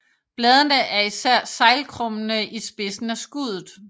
Bladene er især seglkrummede i spidsen af skuddet